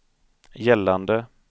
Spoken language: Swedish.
gällande